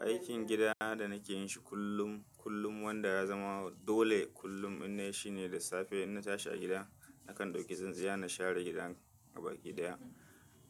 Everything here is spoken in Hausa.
Aikin gida da nake yin shi kullum, kullum wanda ya zama dole kullum ina yi shi ne da safe in na tashi a gida nakan ɗauki zanzaya na share gidan gabakidaya.